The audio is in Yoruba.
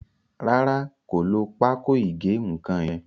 Ràrá kò ló Pákò ìgé-nǹkan yén.